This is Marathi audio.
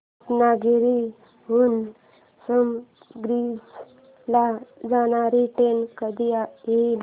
रत्नागिरी हून संगमेश्वर ला जाणारी ट्रेन कधी येईल